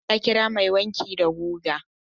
Halima ta kira mai wanki da guga.